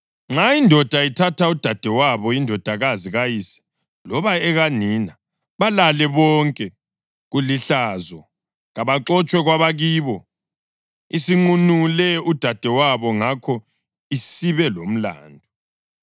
Nxa indoda ithatha udadewabo, indodakazi kayise loba ekanina balale bonke, kulihlazo. Kabaxotshwe kwabakibo. Isinqunule udadewabo ngakho isibelomlandu.